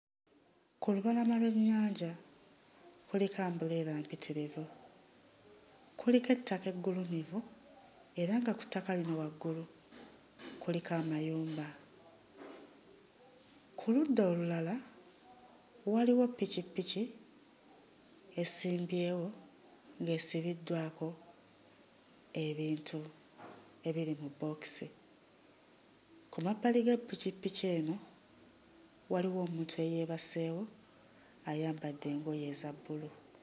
Ku lubalama lw'ennyanja kuliko umbrella mpitirivu, kuliko ettaka eggulumivu era nga ku ttaka lino waggulu kuliko amayumba. Ku ludda olulala waliwo ppikippiki esimbyewo ng'esibiddwako ebintu ebiri mu bbookisi. Ku mabbali ga ppikippiki eno waliwo omuntu eyeebaseewo ayambadde engoye eza bbulu.